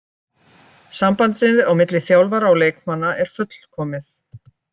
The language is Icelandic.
Sambandið á milli þjálfara og leikmanna er fullkomið.